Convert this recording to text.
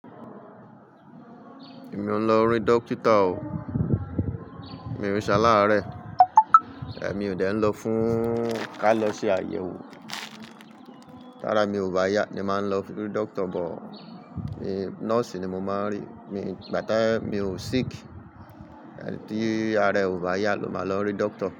Èmi ò ń lọ rí dókítà o. Mi ò ṣe alare, mi ò dé ń lọ fún ká lọ ṣe àyẹ̀wò. Tárá, mi ò bá yá ni màá ń lọ rí dókítà bọ̀, ní nọ́ọ̀sì ni mo máa ń rí. Mi ígbà tí mi ò sick, en tí ara ò bá yá ló máa lọ rí dókítà.